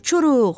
Uçuruq,